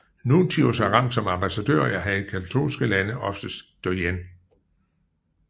Nuntius har rang som ambassadør og er i katolske lande oftest doyen